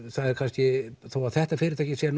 það er kannski þó að þetta fyrirtæki sé